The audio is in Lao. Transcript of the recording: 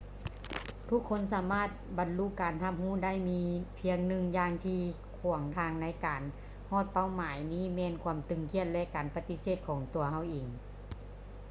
ທຸກຄົນສາມາດບັນລຸການຮັບຮູ້ໄດ້ ມີພຽງໜຶ່ງຢ່າງທີ່ຂວາງທາງໃນການໃຫ້ຮອດເປົ້າໝາຍນີ້ແມ່ນຄວາມຕຶງຄຽດ ແລະ ການປະຕິເສດຂອງຕົວເຮົາເອງ